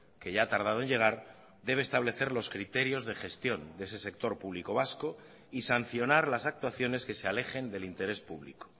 que ya ha tardado en llegar debe establecer los criterios de gestión de ese sector público vasco y sancionar las actuaciones que se alejen del interés público